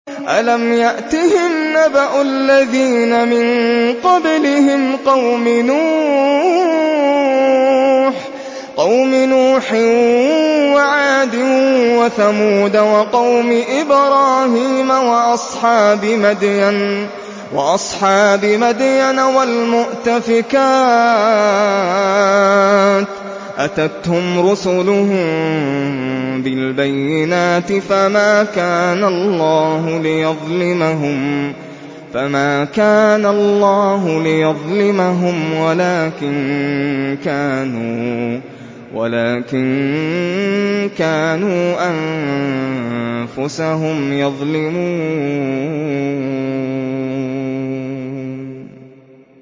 أَلَمْ يَأْتِهِمْ نَبَأُ الَّذِينَ مِن قَبْلِهِمْ قَوْمِ نُوحٍ وَعَادٍ وَثَمُودَ وَقَوْمِ إِبْرَاهِيمَ وَأَصْحَابِ مَدْيَنَ وَالْمُؤْتَفِكَاتِ ۚ أَتَتْهُمْ رُسُلُهُم بِالْبَيِّنَاتِ ۖ فَمَا كَانَ اللَّهُ لِيَظْلِمَهُمْ وَلَٰكِن كَانُوا أَنفُسَهُمْ يَظْلِمُونَ